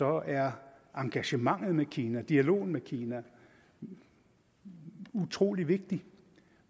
er engagementet med kina og dialogen med kina utrolig vigtig